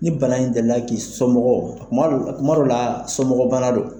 Ni bana in delila k'i somɔgɔw kuma dɔw kuma dɔw la somɔgɔbana don.